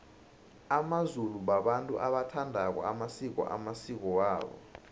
amazulu babantu abawathandako amasiko amasiko wabo